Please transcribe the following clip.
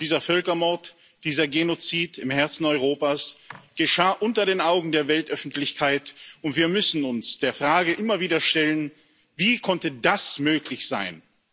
Dieser Völkermord, dieser Genozid im Herzen Europas, geschah unter den Augen der Weltöffentlichkeit, und wir müssen uns der Frage immer wieder stellen Wie konnte das möglich sein?